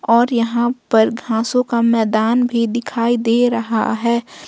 और यहां पर घासों का मैदान भी दिखाई दे रहा है।